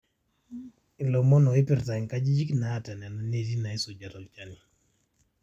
ilomon oopirta inkajijik naata nena neeti naaisuja tolchani